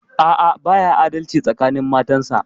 A'a, baya adalci tsakanin matansa.